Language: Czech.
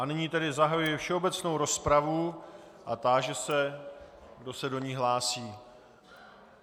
A nyní tedy zahajuji všeobecnou rozpravu a táži se, kdo se do ní hlásí.